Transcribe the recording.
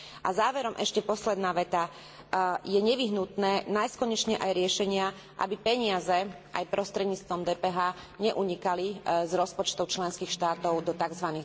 A záverom ešte posledná veta je nevyhnutné nájsť konečne aj riešenia, aby peniaze, aj prostredníctvom DPH, neunikali z rozpočtov členských štátov do tzv.